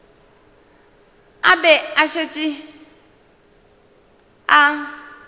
a be a šetše a